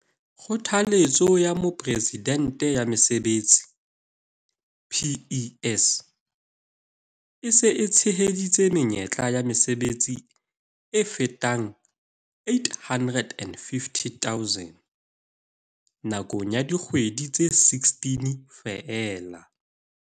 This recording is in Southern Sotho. Kgothaletso ya Mopresidente ya Mesebetsi, PES, e se e tsheheditse menyetla ya mesebetsi e fetang 850 000 nakong ya dikgwedi tse 16 feela.